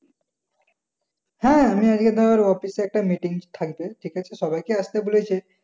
হ্যাঁ আমি আজকে তোর অফিসে একটা মিটিং থাকবে ঠিক আছে সবাইকে আসতে বলেছে।